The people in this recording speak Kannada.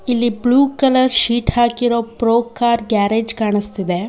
ಇಲ್ಲಿ ಬ್ಲೂ ಕಲರ್ ಶೀಟ್ ಹಾಕಿರೋ ಪ್ರೋಕಾರ್ ಗ್ಯಾರೇಜ್ ಕಾಣುಸ್ತಿದೆ.